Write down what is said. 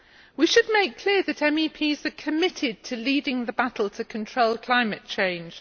We should make clear that MEPs are committed to leading the battle to control climate change.